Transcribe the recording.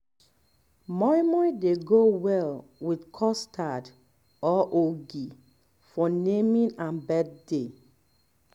moin moin dey go well with custard or ogi for naming and birthday